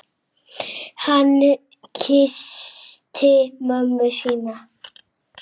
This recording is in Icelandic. Hann kyssti mömmu sína.